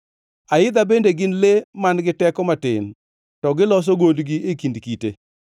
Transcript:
aidha bende gin le man-gi teko matin, to giloso gondgi e kind kite,